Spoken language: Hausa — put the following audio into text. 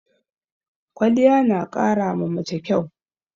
Kwaliya na ƙara ma mace kyau